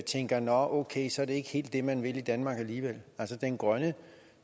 tænker at okay så er det ikke helt det man vil i danmark alligevel den grønne